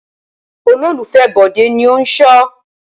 Olólùfẹ́ Bọ̀dé ni ó ń ṣọ.